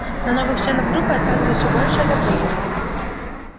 на новых членов группы оказывают всё большее давление